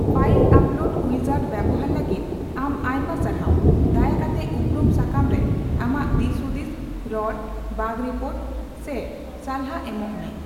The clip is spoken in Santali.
ᱯᱷᱟᱭᱤᱞ ᱟᱯᱞᱳᱰ ᱩᱭᱡᱟᱨᱰ ᱵᱮᱣᱦᱟᱨ ᱞᱟᱹᱜᱤᱫ ᱟᱢ ᱟᱭᱢᱟ ᱥᱟᱨᱦᱟᱣ ᱾ᱫᱟᱭᱟᱠᱟᱛᱮ ᱩᱯᱨᱩᱢ ᱥᱟᱠᱟᱢᱨᱮ ᱟᱢᱟᱜ ᱫᱤᱥᱼᱦᱩᱫᱤᱥ, ᱨᱚᱲ, ᱵᱟᱜ ᱨᱤᱯᱚᱨᱴ, ᱥᱮ ᱥᱟᱞᱦᱟ ᱮᱢᱚᱜ ᱢᱮ ᱾